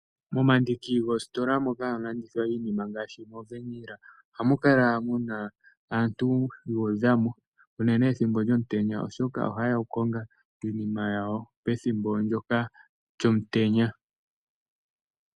Momandiki goositola moka hamu landithwa iinima ngaashi moVeenila ohamu kala mu aantu yuudha mo uunene ethimbo lyomutenya oshoka ojayeyq kokukonga iinima yawo pethimbo ndjoka lyomutenya.